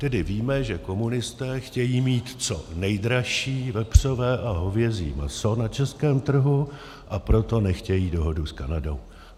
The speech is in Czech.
Tedy víme, že komunisté chtějí mít co nejdražší vepřové a hovězí maso na českém trhu, a proto nechtějí dohodu s Kanadou.